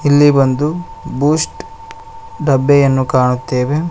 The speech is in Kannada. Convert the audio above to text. ಇಲ್ಲಿ ಒಂದು ಬೂಸ್ಟ್ ಡಬ್ಬೆಯನ್ನು ಕಾಣುತ್ತೇವೆ.